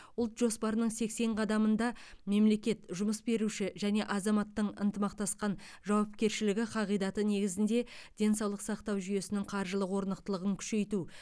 ұлт жоспарының сексен қадамында мемлекет жұмыс беруші және азаматтың ынтымақтасқан жауапкершілігі қағидаты негізінде денсаулық сақтау жүйесінің қаржылық орнықтылығын күшейту